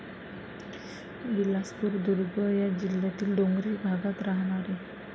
बिलासपूर, दुर्ग या जिल्यातील डोंगरी भागात राहाणारे.